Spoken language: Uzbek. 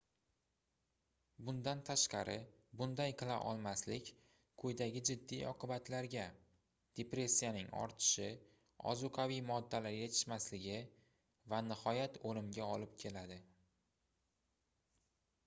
bundan tashqari bunday qila olmaslik quyidagi jiddiy oqibatlarga depressiyaning ortishi ozuqaviy moddalar yetishmasligi va nihoyat oʻlimga olib keladi